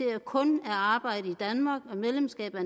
at det kun er arbejde i danmark og medlemskab af